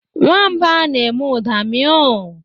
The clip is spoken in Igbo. Nwamba na-eme ụda miow.